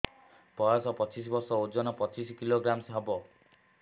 ବୟସ ପଚିଶ ବର୍ଷ ଓଜନ ପଚିଶ କିଲୋଗ୍ରାମସ ହବ